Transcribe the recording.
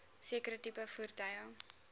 sekere tipe voertuie